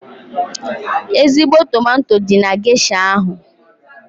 Ezigbo tomato dị na gesha ahụ.